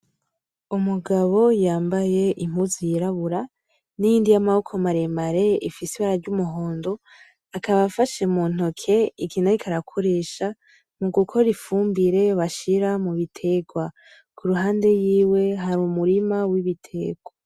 Umugabo yambaye impunzu y’irabura, n’iyindi yamaboko maremare ifise ibara ry’umuhondo, akaba afashe muntoki ikintu ariko arakoresha mugukora ifumbire bashira mubiterwa, kuruhande yiwe hari umurima w’ibiterwa.